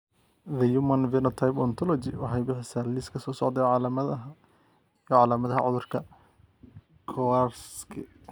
The Human Phenotype Ontology waxay bixisaa liiska soo socda ee calaamadaha iyo calaamadaha cudurka Kowarski.